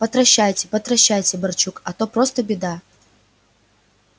потращайте потращайте барчук а то просто беда